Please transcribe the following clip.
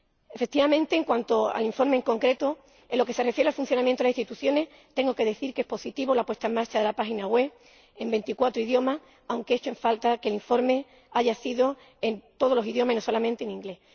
Efectivamente, en cuanto al informe en concreto, en lo que se refiere al funcionamiento de las instituciones, tengo que decir que es positiva la puesta en marcha de la página web en veinticuatro idiomas, aunque lamento que el informe no esté disponible en todos los idioma, sino solamente en inglés.